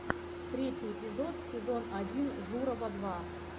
третий эпизод сезон один журова два